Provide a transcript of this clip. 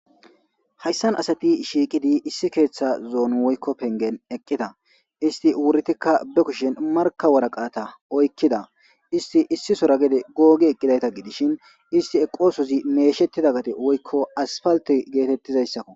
hayssan asati shiikidi issi keeththa zoon woykko pengen eqqida isti wuritikka be kushin marka waraqaata oykkida isti issisora gede googi eqqidayta gidishin isti eqoosozi meeshettida gate woykko asfalte geetettizayssakko